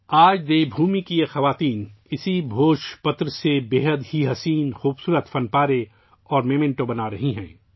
آج دیو بھومی کی یہ خواتین بھوج پتر سے بہت خوبصورت نوادرات اور یادگاریں بنا رہی ہیں